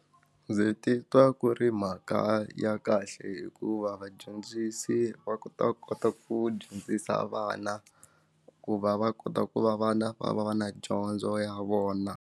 Ndzi titwa ku ri mhaka ya kahle hikuva vadyondzisi va kota ku kota ku dyondzisa vana ku va va kota ku va vana va va va na dyondzo ya vona.